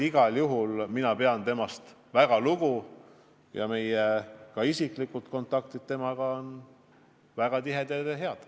Igal juhul mina pean temast väga lugu ja ka meie isiklikud kontaktid on väga tihedad ja head.